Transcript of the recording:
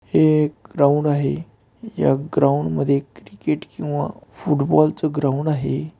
हे एक ग्राऊंड आहे ह्या ग्राऊंड मध्ये क्रिकेट किंवा फुटबॉल च ग्राउंड आहे.